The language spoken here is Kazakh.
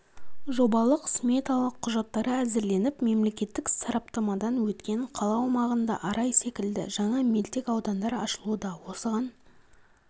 жобалық-сметалық құжаттары әзірленіп мемлекеттік сараптамадан өткен қала аумағында арай секілді жаңа мөлтек аудандар ашылуда осыған